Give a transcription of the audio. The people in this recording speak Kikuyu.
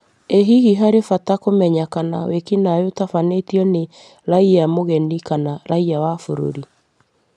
"Ĩ hihi harĩ bata kũmenya kana wĩkinaĩ ũtabanĩtio nĩ raiya mũgeni kana raiya wa bũrũri?